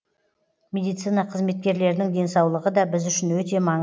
медицина қызметкерлерінің денсаулығы да біз үшін өте маң